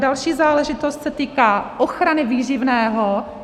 Další záležitost se týká ochrany výživného.